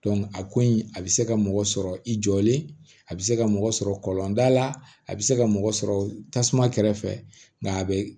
a ko in a bɛ se ka mɔgɔ sɔrɔ i jɔlen a bɛ se ka mɔgɔ sɔrɔ kɔlɔnda la a bɛ se ka mɔgɔ sɔrɔ tasuma kɛrɛfɛ nka a bɛ